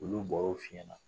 Olu bɛ bɔraw fɔ i ɲɛna